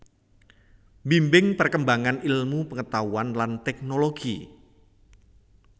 Mbimbing perkembangan ilmu pengetahuan lan teknologi